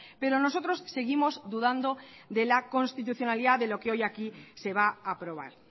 pero nosotros seguimos dudando de la constitucionalidad de lo que hoy aquí se va a aprobar